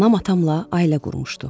Anam atamla ailə qurmuşdu.